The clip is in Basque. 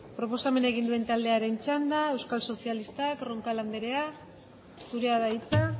proposamena egin duen taldearen txanda euskal sozialistak roncal anderea zurea da hitza